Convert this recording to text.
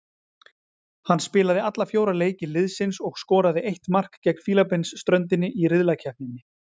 Hann spilaði alla fjóra leiki liðsins og skoraði eitt mark gegn Fílabeinsströndinni í riðlakeppninni.